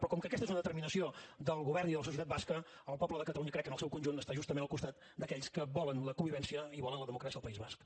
però com que aquesta és una determinació del govern i de la societat basca el poble de catalunya crec que en el seu conjunt està justament al costat d’aquells que volen la convivència i volen la democràcia al país basc